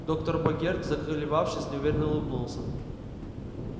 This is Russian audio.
доктор богерт заколебавшись неуверенно улыбнулся